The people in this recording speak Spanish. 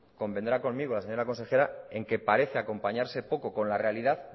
convendrá conmigo la señora consejera en que parece acompañarse poco con la realidad